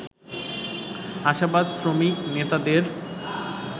আশাবাদ শ্রমিক নেতাদের